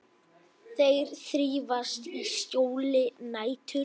Þeir þrífast í skjóli nætur.